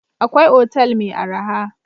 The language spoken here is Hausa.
Akwai otal mai arha.